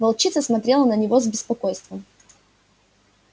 волчица смотрела на него с беспокойством